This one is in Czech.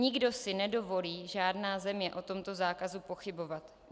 Nikdo si nedovolí, žádná země, o tomto zákazu pochybovat.